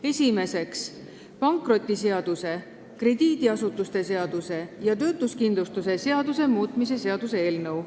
Esiteks, pankrotiseaduse, krediidiasutuste seaduse ja töötuskindlustuse seaduse muutmise seaduse eelnõu.